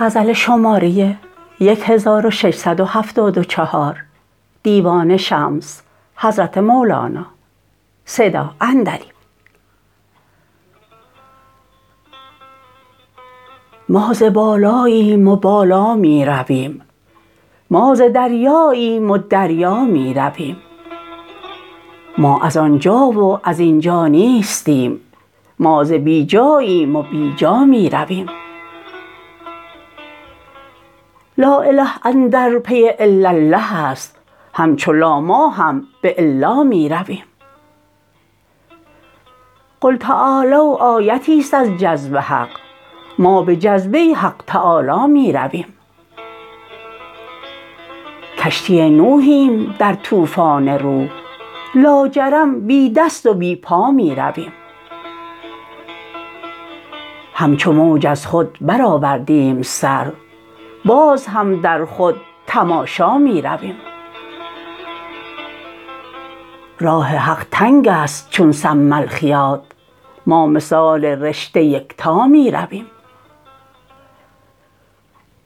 ما ز بالاییم و بالا می رویم ما ز دریاییم و دریا می رویم ما از آن جا و از این جا نیستیم ما ز بی جاییم و بی جا می رویم لااله اندر پی الالله است همچو لا ما هم به الا می رویم قل تعالوا آیتیست از جذب حق ما به جذبه حق تعالی می رویم کشتی نوحیم در طوفان روح لاجرم بی دست و بی پا می رویم همچو موج از خود برآوردیم سر باز هم در خود تماشا می رویم راه حق تنگ است چون سم الخیاط ما مثال رشته یکتا می رویم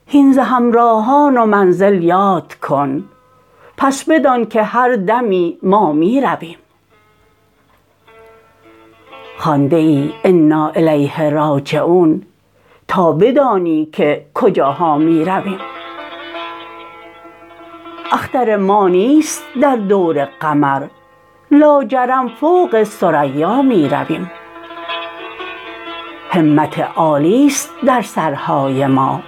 هین ز همراهان و منزل یاد کن پس بدانک هر دمی ما می رویم خوانده ای انا الیه راجعون تا بدانی که کجاها می رویم اختر ما نیست در دور قمر لاجرم فوق ثریا می رویم همت عالی است در سرهای ما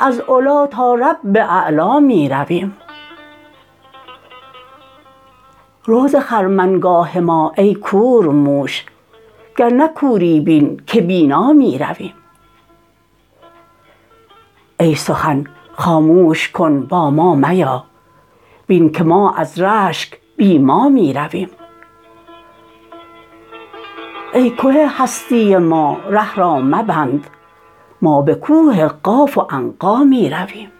از علی تا رب اعلا می رویم رو ز خرمنگاه ما ای کورموش گر نه کوری بین که بینا می رویم ای سخن خاموش کن با ما میا بین که ما از رشک بی ما می رویم ای که هستی ما ره را مبند ما به کوه قاف و عنقا می رویم